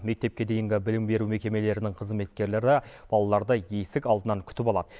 мектепке дейінгі білім беру мекемелерінің қызметкерлері балаларды есік алдынан күтіп алады